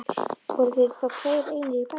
Voru þeir þá tveir einir í bænum.